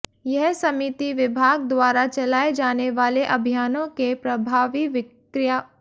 यह समिति विभाग द्वारा चलाये जाने वाले अभियानों के प्रभावी क्रियांवयन की मॉनिटरिंग करेगी